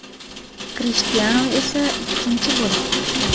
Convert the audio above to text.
Krishtianu esa ikkinchi bo‘lib turibdi.